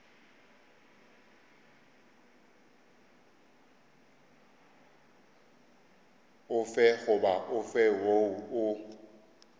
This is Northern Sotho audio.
ofe goba ofe woo o